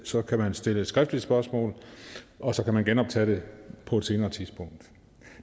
så kan man stille et skriftligt spørgsmål og så kan man genoptage det på et senere tidspunkt